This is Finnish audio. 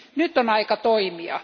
Nyt on aika toimia.